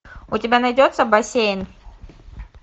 у тебя найдется бассейн